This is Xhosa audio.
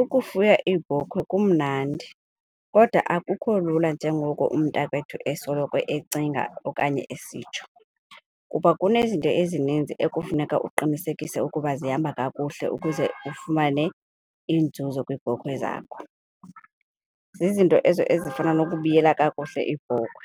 Ukufuya iibhokhwe kumnandi kodwa akukho lula njengoko umntakwethu esoloko ecinga okanye esitsho kuba kunezinto ezininzi ekufuneka uqinisekise ukuba zihamba kakuhle ukuze ufumane iinzuzo kwiibhokhwe zakho. Zizinto ezo ezifana nokubiyela kakuhle iibhokhwe,